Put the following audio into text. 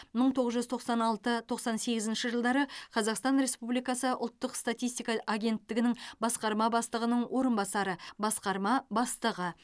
мың тоғыз жүз тоқсан алты тоқсан сегізінші жылдары қазақстан республикасы ұлттық статистика агенттігінің басқарма бастығының орынбасары басқарма бастығы